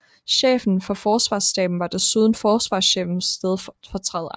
Chefen for Forsvarsstaben var desuden forsvarschefens stedfortræder